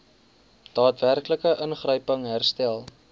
daadwerklike ingryping herstel